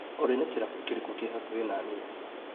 Olĩ nĩ kĩrabu kĩrĩkũ kĩ hakuhĩ naniĩ ?